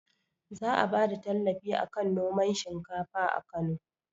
Za a bada tallafi akan noman shinkafa a kano